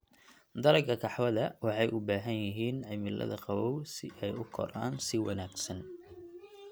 Dalagga qaxwada waxay u baahan yihiin cimilada qabow siay u koraan si wanaagsan.